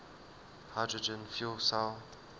hydrogen fuel cell